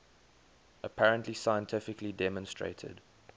apparently scientifically demonstrated